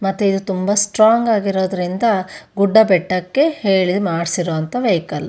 ಮತ್ತೆ ಇದು ತುಂಬಾ ಸ್ಟ್ರಾಂಗ್ ಆಗಿರೋದ್ರಿಂದ ಗುಡ್ಡಬೆಟ್ಟಕ್ಕೆ ಹೇಳಿ ಮಾಡ್ಸಿರೋವಂತ ವೆಹಿಕಲ್ .